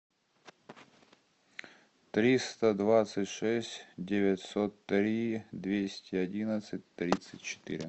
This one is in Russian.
триста двадцать шесть девятьсот три двести одиннадцать тридцать четыре